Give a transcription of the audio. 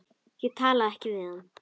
Ég talaði ekkert við hann.